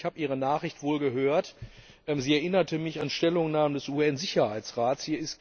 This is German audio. Herr Zanetti, ich habe Ihre Nachricht wohl gehört, sie erinnerte mich an Stellungnahmen des UN Sicherheitsrats.